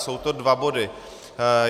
Jsou to dva body.